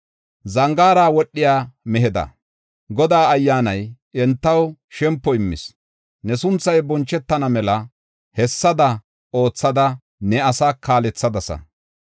Zangaara wodhiya meheda, Godaa Ayyaanay entaw shempo immis. Ne sunthay bonchetana mela hessada oothada ne asaa kaalethadasa.